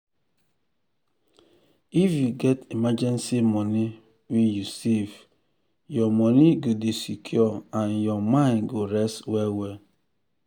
if you get emergency money wey you save your money go dey secure and your mind go rest well well.